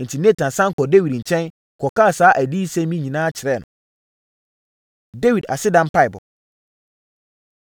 Enti, Natan sane kɔɔ Dawid nkyɛn kɔkaa saa adiyisɛm yi nyinaa kyerɛɛ no. Dawid Aseda Mpaeɛbɔ